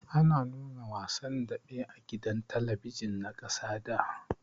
Ana nuna wasan daɓe a gidan talabijin na ƙasa da.